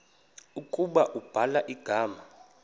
ukuba ubhala igama